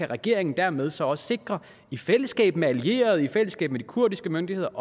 regeringen dermed så også i fællesskab med allierede og i fællesskab med de kurdiske myndigheder